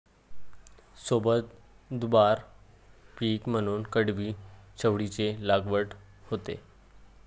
सोबत दुबार पीक म्हणून कडवी चवळीची लागवड होते